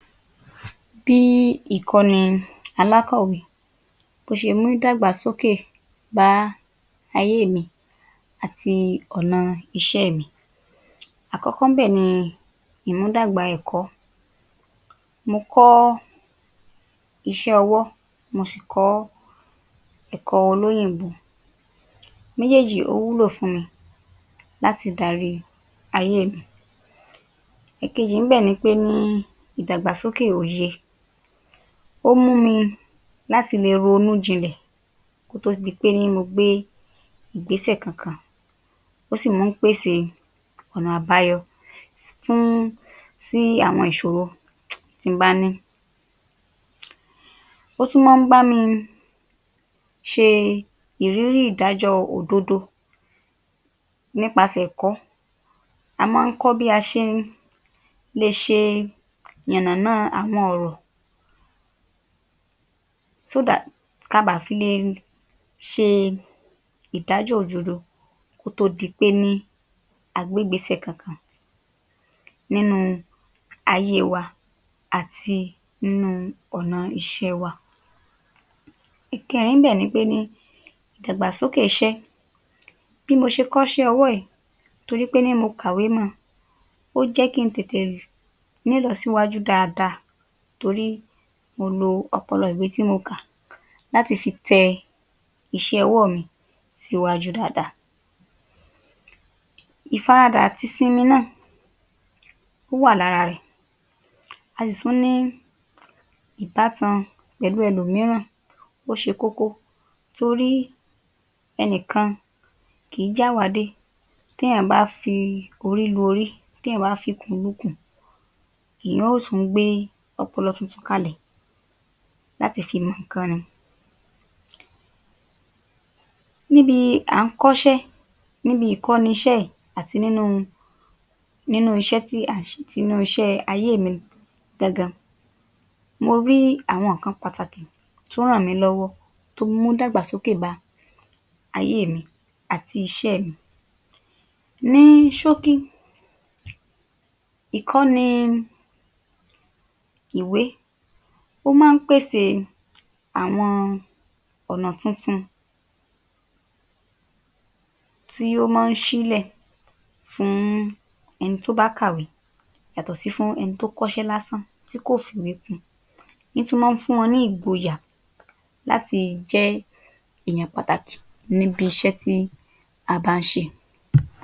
Bí ìkọ́ni alákòwé bó ṣe mú ìdàgbàsókè bá ayé mi àti ọ̀nà iṣẹ́ mi Àkọ́kọ́ ńbẹ̀ ni ìmúdàgbà ẹ̀kọ́. Mo kọ́ iṣẹ́ ọwọ́, mo sì kọ́ ẹ̀kọ́ olóyìnbó. Méjèèjì ó wúlò fún mi láti darí ayé mi. Èkejì ńbẹ̀ ni pé ní ìdàgbàsókè òye. Ó mú mi láti le ronú jinlẹ̀ kó tó di pé ní mo gbé ìgbésẹ̀ kankan. Ó sì má ń pèsè ọ̀nà àbáyọ fún sí àwọn ìṣòro tí m bá ní. Ó tún mọ́ ń bámi ṣe ìrírí ìdájọ́ òdodo. Nípasẹ̀ ẹ̀kọ́, a mọ́ ń kọ́ bí a ṣe ń le ṣe yànnàná àwọn ọ̀rọ̀ (so that) ká baà fi le ṣe ìdájọ́ òdodo kó tó di pé ní a gbé ìgbésẹ̀ kankan nínú ayé wa àti nínú ọ̀na iṣẹ́ wa. Ìkẹẹ̀rin níbẹ̀ ni pé ní ìdàgbàsókè iṣẹ́. Bí mo ṣe kọ́ṣẹ́ ọwọ́ yìí torí pé ní mo kàwé mọ́ ọn, ó jẹ́ kí n tètè ní ìlọsíwájú dáadáa torí mo lọ ọpọlọ ìwé tí mo kà láti fi tẹ iṣẹ́ ọwọ́ mi síwájú dáadáa. Ìfaradà àti ìsinmi náà, ó wà lára rẹ̀. A sì tún ní ìbátan pẹ̀lú ẹlòmíràn, ọ́ ṣe kókó torí ẹnìkan kìí jẹ́ àwá dé. Téyàn bá fi orí lu orí, téyàn bá fi ikùn lu ikùn, èyàn ó tún gbé ọpọlọ tuntun kalẹ̀ láti fi mọ ǹkan ni. Níbi à ń kọ́ṣẹ́, níbi ìkọ́ni iṣẹ́ yìí àti nínú nínú iṣẹ́ tí à ń s̀e, tinú iṣẹ́ ayé mi gangan. Mo rí àwọn ǹkan pàtàkì tó ràn mí lọ́wọ́, tó mú ìdàgbàsókè bá ayé mi àti iṣẹ́ mi. Ní ṣókí, ìkọ́ni ìwé ó má ń pèsè àwọn ọ̀nà tuntun tí ó mọ́ ń ṣílẹ̀ fún ẹni tó bá kàwé yàtọ̀ sí fún ẹni tí ó kọ́ṣé lásán, tí kò fìwé kún un. Ń tún mọ́ ń fún wọn ní ìgboyà láti jẹ́ èyàn pàtàkì níbi iṣẹ́ tí a bá ń ṣe.